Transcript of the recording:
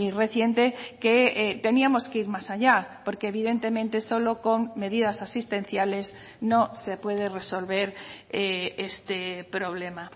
reciente que teníamos que ir más allá porque evidentemente solo con medidas asistenciales no se puede resolver este problema